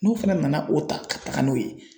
N'u fana nana o ta ka taga n'o ye.